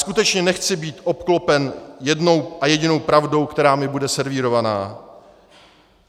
Skutečně nechci být obklopen jednou a jedinou pravdou, která mi bude servírována.